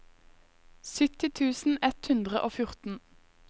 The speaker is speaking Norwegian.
sytti tusen ett hundre og fjorten